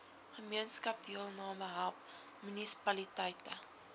gemeenskapsdeelname help munisipaliteite